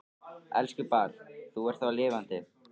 Elsku barn, þú ert þá lifandi.